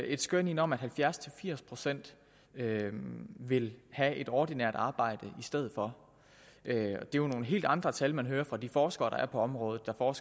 et skøn ind om at halvfjerds til firs procent vil have et ordinært arbejde i stedet for det er jo nogle helt andre tal man hører fra de forskere der er på området og